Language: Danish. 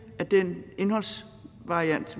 af den indholdsvariation